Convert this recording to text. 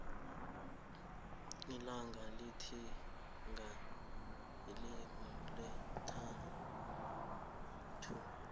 ilanga litihinga ngeilixi lesi thandathu